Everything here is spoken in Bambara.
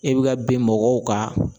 E bɛ ka bin mɔgɔw kan